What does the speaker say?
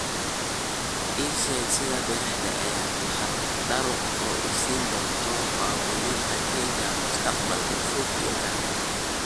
ii sheeg sida brexit ay muxaadaro u siin doonto muwaadiniinta kenya mustaqbalka fog iyo kan dhexe